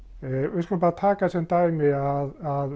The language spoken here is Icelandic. við skulum bara taka sem dæmi að